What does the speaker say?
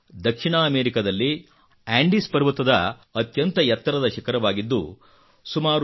ಇದು ದಕ್ಷಿಣ ಅಮೆರಿಕಾದಲ್ಲಿ ಆಂಡಿಸ್ ಪರ್ವತದ ಅತ್ಯಂತ ಎತ್ತರದ ಶಿಖರವಾಗಿದ್ದು